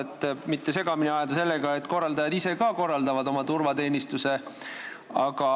Seda ei maksa segamini ajada sellega, et korraldajad ise korraldavad oma turvateenistuse.